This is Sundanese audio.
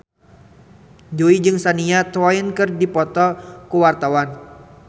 Jui jeung Shania Twain keur dipoto ku wartawan